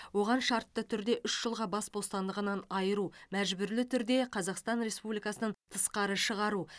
оған шартты түрде үш жылға бас бостандығын айыру мәжбүрлі түрде қазақстан республикасынан тысқары шығару